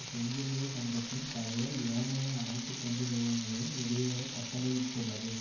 செஞ்சிலுவை சங்கத்தைத் தவிர ஏனைய அனைத்து தொண்டு நிறுவனங்களையும் வெளியேறக் கட்டளையிட்டுள்ளது